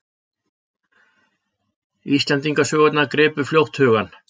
Íslendingasögurnar gripu fljótt hugann.